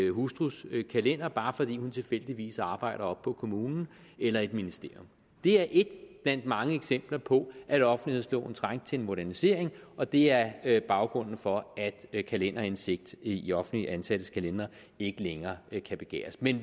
hustrus kalender bare fordi hun tilfældigvis arbejder oppe på kommunen eller i et ministerium det er ét blandt mange eksempler på at offentlighedsloven trængte til en modernisering og det er baggrunden for at kalenderindsigt i offentligt ansattes kalendere ikke længere kan begæres men